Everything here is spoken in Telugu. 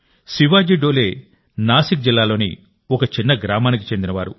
శివాజీ డోలే నాసిక్ జిల్లాలోని ఒక చిన్న గ్రామానికి చెందినవారు